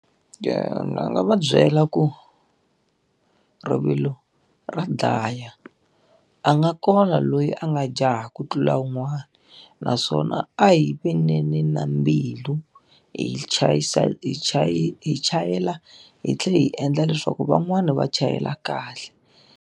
Ni nga va byela ku, rivilo ra dlaya. A nga kona loyi a nga jaha ku tlula un'wana, naswona a hi veneni na mbilu hi hi hi chayela hi tlhela hi endla leswaku van'wani va chayela kahle.